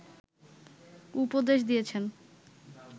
উপদেশ দিয়েছেন